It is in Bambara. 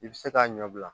I bɛ se k'a ɲɛbila